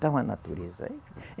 Então a natureza aí